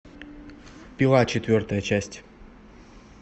пила четвертая часть